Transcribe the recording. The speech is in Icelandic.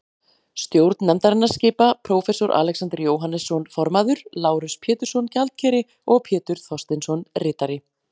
Stjórn nefndarinnar skipa: Prófessor Alexander Jóhannesson formaður, Lárus Pétursson, gjaldkeri og Pétur Thorsteinsson, ritari.